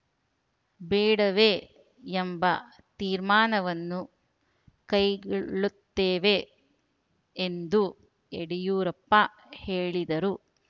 ಬೇಡವೇ ಎಂಬ ತೀರ್ಮಾನವನ್ನು ಕೈಗೊಳ್ಳುತ್ತೇವೆ ಎಂದು ಯಡಿಯೂರಪ್ಪ ಹೇಳಿದರು